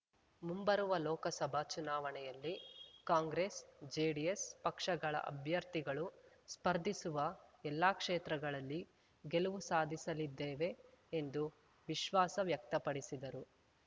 ಮುಂಬರುವ ಲೋಕಸಭಾ ಚುನಾವಣೆಯಲ್ಲಿ ಕಾಂಗ್ರೆಸ್ ಜೆಡಿಎಸ್ ಪಕ್ಷಗಳ ಅಭ್ಯರ್ಥಿಗಳು ಸ್ಪರ್ಧಿಸುವ ಎಲ್ಲಾ ಕ್ಷೇತ್ರಗಳಲ್ಲಿ ಗೆಲುವು ಸಾಧಿಸಲಿದ್ದೇವೆ ಎಂದು ವಿಶ್ವಾಸ ವ್ಯಕ್ತಪಡಿಸಿದರು